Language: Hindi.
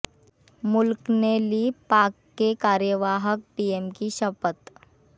मुल्क ने ली पाक के कार्यवाहक पीएम की शपथ